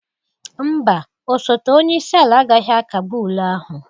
Mba, osote onye isi ala agaghị akagbu ule ahụ.